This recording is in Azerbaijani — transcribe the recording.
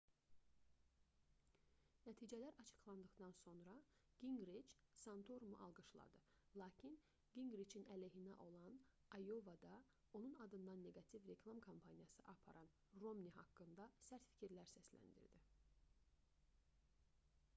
nəticələr açıqlandıqdan sonra qinqriç santorumu alqışladı lakin qinqriçin əleyhinə olan ayovada onun adından neqativ reklam kampaniyası aparan romni haqqında sərt fikirlər səsləndirdi